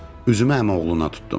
Üzümü əmioğluna tutdum.